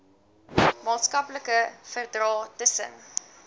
maatskaplike verdrae tussen